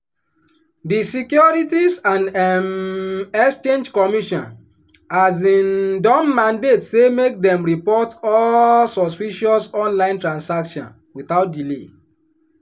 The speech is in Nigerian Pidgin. di securities and um exchange commission um don mandate say make dem report all suspicious online transaction without delay.